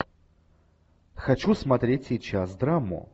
хочу смотреть сейчас драму